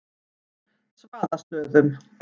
Svaðastöðum